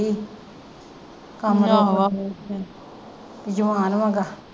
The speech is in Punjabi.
ਜਵਾਨ .